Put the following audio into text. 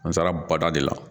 An taara bada de la